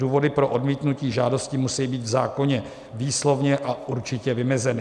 Důvody pro odmítnutí žádosti musejí být v zákoně výslovně a určitě vymezeny.